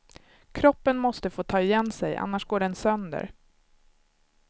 Kroppen måste få ta igen sig, annars går den sönder.